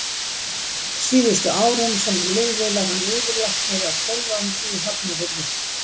Síðustu árin, sem hann lifði, var hann yfirlæknir á Sólvangi í Hafnarfirði.